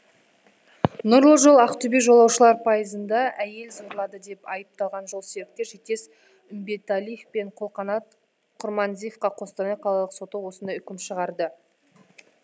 нұрлы жол ақтөбе жолаушылар пайызында әйел зорлады деп айыпталған жолсеріктер жетес үмбеталиев пен қолқанат құрманизиевқа қостанай қалалық соты осындай үкім шығарды